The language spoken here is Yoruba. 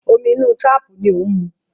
Omi inú táàpù ni ó ń mu.